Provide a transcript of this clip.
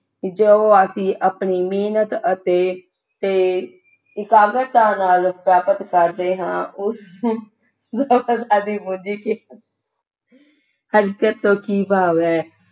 ਜਦੋਂ ਅਸੀਂ ਆਪਣੀ ਮਿਹਨਤ ਅਤੇ ਤੇ ਇਕਾਗਰਤਾ ਨਾਲ ਪ੍ਰਾਪਤ ਕਰਦੇ ਹਾਂ ਉਸ ਨੂੰ ਸਫਲਤਾ ਦੀ ਪੂੰਜੀ ਕਿਹਾ ਹਲਚਲ ਤੋਂ ਕਿ ਭਾਵ ਹੈ